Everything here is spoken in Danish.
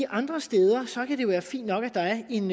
andre steder kan det være fint nok at der er en